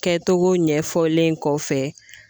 Kɛcogo ɲɛfɔlen kɔfɛ